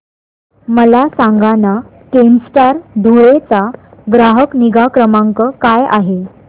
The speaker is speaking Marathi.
मला सांगाना केनस्टार धुळे चा ग्राहक निगा क्रमांक काय आहे